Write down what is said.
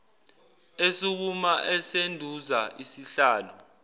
esukuma esunduza isihlalo